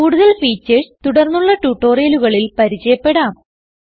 കൂടാതെ ഫീച്ചർസ് തുടർന്നുള്ള ട്യൂട്ടോറിയലുകളിൽ പരിചയപ്പെടാം